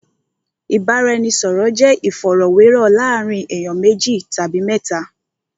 Ìbáraẹnisọ̀rọ̀ jẹ́ ìfọ̀rọ̀wérọ̀ láàárín ènìyàn méjì tàbí mẹ́ta.